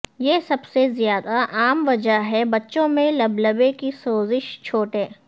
یہ سب سے زیادہ عام وجہ ہے بچوں میں لبلبے کی سوزش چھوٹے